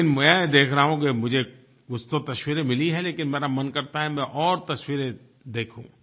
लेकिन मैं देख रहा हूँ कि मुझे कुछ तो तस्वीरें मिली हैं लेकिन मेरा मन करता है कि मैं और तस्वीरें देखूँ